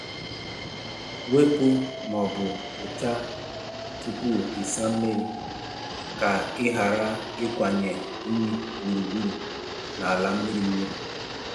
Wepu ma ọ bụ kpochaa tupu ịsa mmiri ka ị ghara ịkwanye unyi gburugburu n'ala mmiri mmiri.